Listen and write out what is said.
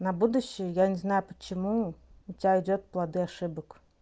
на будущее я не знаю почему у тебя идёт плоды ошибок